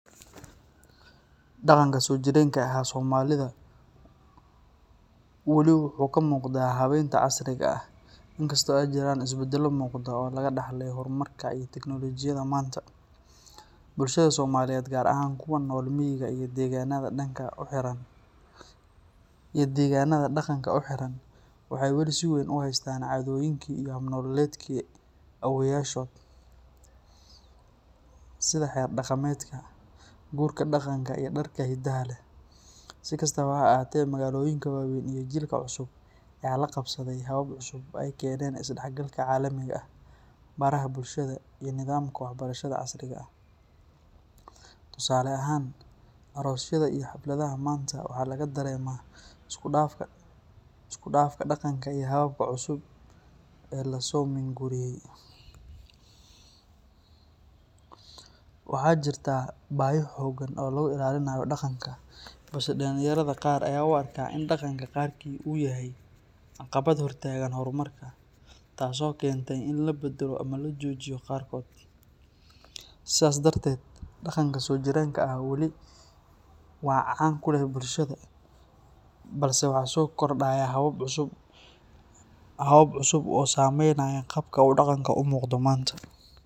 Dhaqanka soojireenka ahaa ee Soomaalida weli wuu ka muuqdaa habeynta casriga ah, inkastoo ay jiraan isbeddello muuqda oo laga dhaxlay horumarka iyo tiknoolojiyadda maanta. Bulshada Soomaaliyeed, gaar ahaan kuwa ku nool miyiga iyo deegaannada dhaqanka u xiran, waxay weli si weyn u haystaan caadooyinkii iyo hab nololeedkii awoowayaashood, sida xeer dhaqameedka, guurka dhaqanka, iyo dharka hidaha leh. Si kastaba ha ahaatee, magaalooyinka waaweyn iyo jiilka cusub ayaa la qabsaday habab cusub oo ay keeneen isdhexgalka caalamiga ah, baraha bulshada, iyo nidaamka waxbarashada casriga ah. Tusaale ahaan, aroosyada iyo xafladaha maanta waxaa laga dareemaa isku dhafka dhaqanka iyo hababka cusub ee la soo minguuriyay. Waxaa jirta baahi xooggan oo lagu ilaalinayo dhaqanka, balse dhalinyarada qaar ayaa u arka in dhaqanka qaarkii uu yahay caqabad hor taagan horumarka, taasoo keentay in la beddelo ama la joojiyo qaarkood. Sidaas darteed, dhaqanka soojireenka ah weli waa can ku leh bulshada, balse waxaa soo kordhaya habab cusub oo saamaynaya qaabka uu dhaqanku u muuqdo maanta.